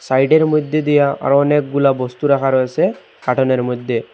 সাইডের মইধ্যে দিয়া আরো অনেকগুলা বস্তু রাখা রয়েছে কাটুনের মইধ্যে ।